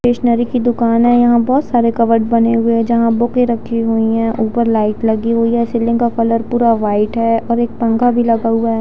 Stationery की दुकान है यहाँ बहुत सारे कबोर्ड बने हुए है जहा बुके रखी हुई है ऊपर लाइट लगी हुई है सीलिंग का कलर पूरा वाइट है और एक पंखा भी लगा हुआ है।